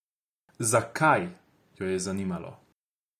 Zakaj, jo je zanimalo.